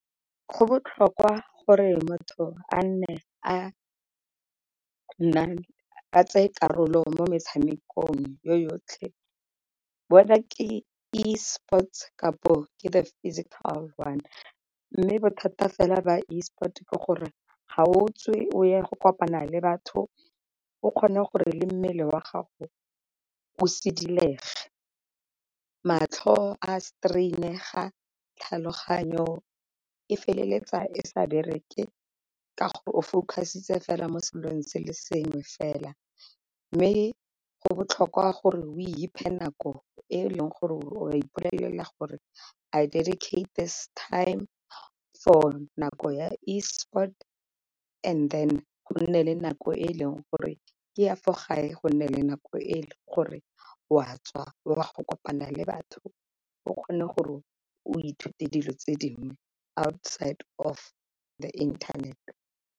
Go botlhokwa gore motho a nne a tsaye karolo mo metshamekong yo yotlhe whether ke e-sports kapo ke the physical one, mme bothata fela ba e-sport ke gore ga o tswe o ye go kopana le batho o kgone gore le mmele wa gago o sidilege. Matlho a strain-ega, tlhaloganyo e feleletsa e sa bereke ka gore o focus-itse fela mo selong se le sengwe fela. Mme go botlhokwa gore o iphe nako e leng gore o ipolelela gore I dedicate this time for nako ya e-sport and then go nne le nako e e leng gore ke ya fo gae, go nne le nako e leng gore o a tswa o a go kopana le batho o kgone gore o ithute dilo tse dingwe outside of the internet.